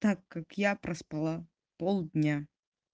так как я проспала пол дня